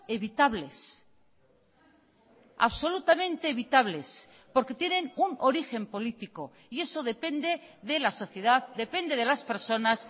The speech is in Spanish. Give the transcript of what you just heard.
evitables absolutamente evitables porque tienen un origen político y eso depende de la sociedad depende de las personas